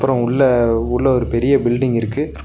அப்றோ உள்ள உள்ள ஒரு பெரிய பில்டிங் இருக்கு.